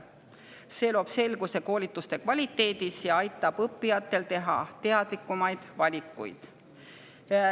See loob selguse koolituste kvaliteedi kohta ja aitab õppijatel teha teadlikumaid valikuid.